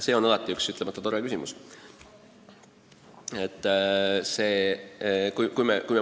See on alati üks ütlemata tore küsimus.